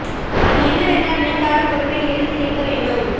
அது என்னவென்றால் விழுந்தாலும் ஒரு பெண் எழுந்து நிற்க வேண்டும்